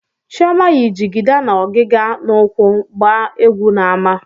Chioma yi jigida na ọgịga n'úkwù gbaa egwu n'ámá.